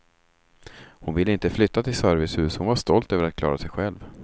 Hon ville inte flytta till servicehus, hon var stolt över att klara sig själv.